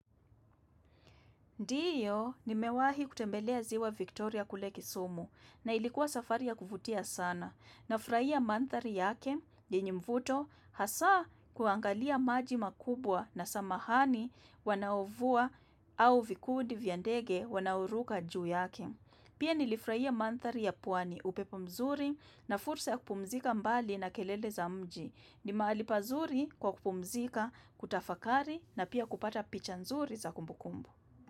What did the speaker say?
Ndiyo, nimewahi kutembelea ziwa Victoria kule kisumu na ilikuwa safari ya kuvutia sana Nafurahia mandhari yake yenye mvuto hasa kuangalia maji makubwa na samahani wanaovua au vikundi vya ndege wanaoruka juu yake. Pia nilifurahia mandhari ya pwani, upepo mzuri na fursa ya kupumzika mbali na kelele za mji. Ni mahali pazuri kwa kupumzika, kutafakari na pia kupata picha nzuri za kumbukumbu.